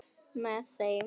Með þeim